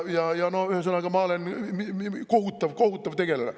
Ühesõnaga, ma olen kohutav-kohutav tegelane.